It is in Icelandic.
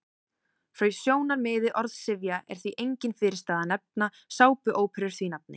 Frá sjónarmiði orðsifja er því engin fyrirstaða að nefna sápuóperur því nafni.